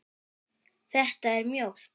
Þetta er mjólk.